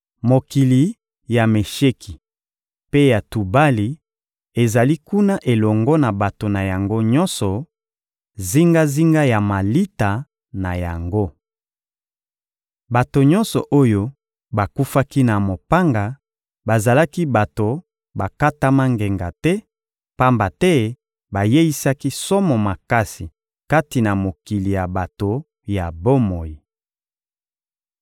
Mokili ya Mesheki mpe ya Tubali ezali kuna elongo na bato na yango nyonso, zingazinga ya malita na yango. Bato nyonso oyo bakufaki na mopanga bazalaki bato bakatama ngenga te, pamba te bayeisaki somo makasi kati na mokili ya bato ya bomoi.